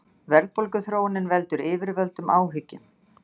Verðbólguþróunin veldur yfirvöldum áhyggjum